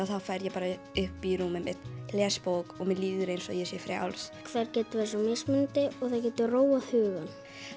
þá fer ég bara upp í rúmið mitt les bók og mér líður eins og ég sé frjáls þær geta verið svo mismunandi og það getur róað hugann